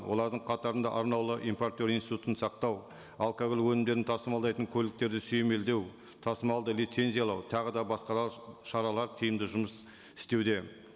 олардың қатарында арнаулы импортер институтын сақтау алкоголь өнімдерін тасымалдайтын көліктерді сүйемелдеу тасымалды лицензиялау тағы да басқалар шаралар тиімді жұмыс істеуде